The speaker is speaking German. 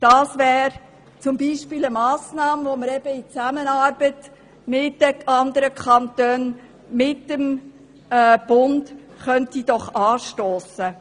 Dies wäre zum Beispiel eine Massnahme, welche man in Zusammenarbeit mit den anderen Kantonen, mit dem Bund anstossen könnte.